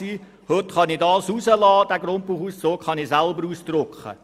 Heute kann ich den Grundbuchauszug selber ausdrucken.